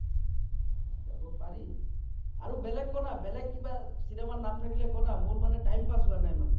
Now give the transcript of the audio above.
যাব পাৰি আৰু বেলেগ ক না বেলেগ কিবা cinema ৰ নাম থাকিলে ক না মোৰ মানে time pass হোৱা নাই মানে